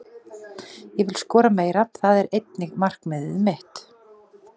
Ég vil skora meira, það er einnig markmiðið mitt.